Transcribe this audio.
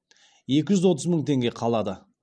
екі жүз отыз мың теңге қалады